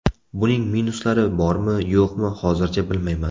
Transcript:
Buning minuslari bormi-yo‘qmi, hozircha bilmayman.